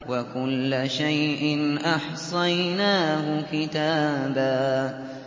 وَكُلَّ شَيْءٍ أَحْصَيْنَاهُ كِتَابًا